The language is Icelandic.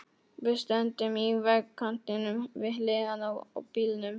Við stöndum í vegkantinum, við hliðina á bílnum.